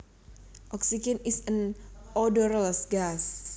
Oxygen is an odorless gas